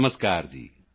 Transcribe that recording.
ਨਮਸਕਾਰ ਜੀ